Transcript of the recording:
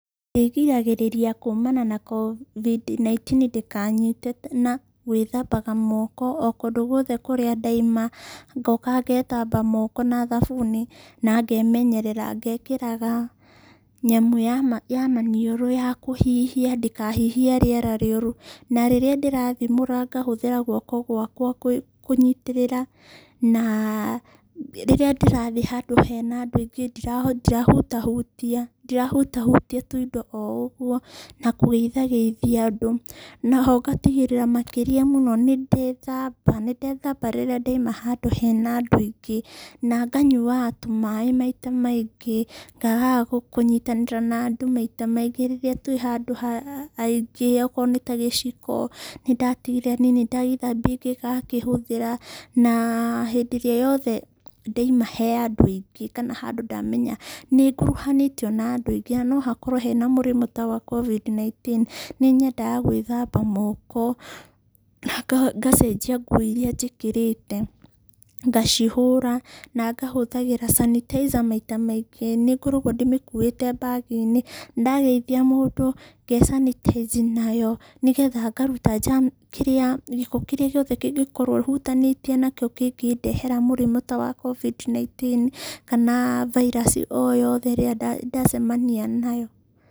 Ndĩgĩragĩrĩria kuumana na COVID-19 ndĩkanyite na gwĩthambaga moko o kũndũ guothe kũrĩa ndaima ngoka ngethamba moko na thabuni na ngemenyerera. Ngekĩraga nyamũ ya maniũrũ ya kũhihia ndikahihie rĩera rĩuru. Na rĩrĩa ndĩrathimũra ngahũthĩra gwoko gwakwa kũnyitirĩra. Na rĩrĩa ndĩrathiĩ handũ hena andũ aingĩ ndirahutahutia tũindo o ũguo na kũgeitha geithia andũ. Na ho ngatigĩrĩra makĩria mũno nĩ ndethamba, nĩ ndethamba rĩrĩa ndoima handũ hena andũ aingĩ. Na nganyuaga tũmaĩ maita maingĩ na ngaga kũnyitanĩra na andũ maita maingĩ rĩrĩa twĩ handũ ha aingĩ okorwo nĩ ta gĩciko nĩ ndatigĩrĩra niĩ nĩ ndagĩthambia ngĩgakĩhũthĩra. Na hĩndĩ ĩrĩa yothe ndoima he andũ aingĩ kana handũ ndamenya nĩ nguruhanĩtio na andũ aingĩ na no hakorwo hena mũrimũ ta wa COVID-19 nĩ nyendaga gwĩthamba moko na ngacenjia nguo irĩa njĩkĩrĩte. Ngacihũra na ngahũthagĩra sanitizer maita maingĩ. Nĩ ngoragwo ndĩmĩkuĩte bag inĩ na ndageithia mũndũ nge sanitize nayo nĩgetha ngaruta gĩko kĩrĩa gĩothe kĩngĩkorwo hutanĩtie nakĩo kĩngĩndehera mũrimũ ta wa COVID-19 kana virus o yothe ĩrĩa ndacemania nayo.